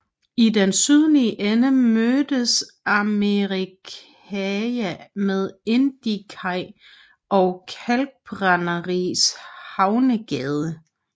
I den sydlige ende mødes Amerikakaj med Indiakaj og Kalkbrænderihavnsgade